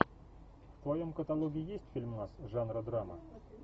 в твоем каталоге есть фильмас жанра драма